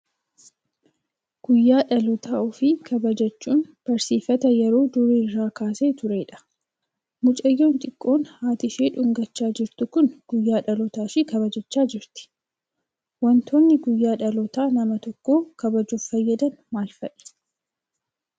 Guyyaa dhaloota ofii kabajachuun barsiifata yeroo durii irraa kaasee turedha. Mucayyoon xiqqoon haati ishii dhungachaa jirtu kun guyyaa dhaloota ishii kabajachaa jirti. Waantonni guyyaa dhaloota nama tokkoo kabajuuf fayyadan maal fa'i?